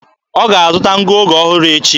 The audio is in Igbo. Ọ ga-azụ̀ta ngụoge ọhụrụ echi